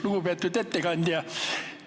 Lugupeetud ettekandja!